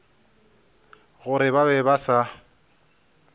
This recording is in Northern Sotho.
gore ba be ba sa